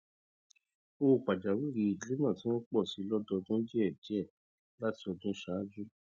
owó pajawìrì ìdílé náà ti ń pọ síi lọdọọdún díẹ díẹ láti ọdún ṣáájú